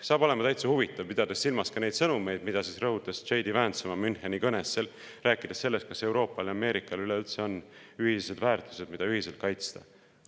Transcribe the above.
Saab olema täitsa huvitav, pidades silmas ka neid sõnumeid, mida rõhutas J. D. Vance oma Müncheni kõnes, rääkides sellest, kas Euroopal ja Ameerikal üleüldse on ühiseid väärtusi, mida ühiselt kaitsta.